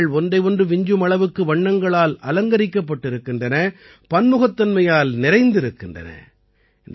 இந்த நிகழ்ச்சிகள் ஒன்றை ஒன்று விஞ்சும் அளவுக்கு வண்ணங்களால் அலங்கரிக்கப்பட்டிருக்கின்றன பன்முகத்தன்மையால் நிறைந்திருக்கின்றன